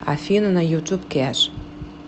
афина на ютуб кеш